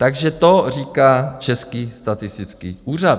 Takže to říká Český statistický úřad.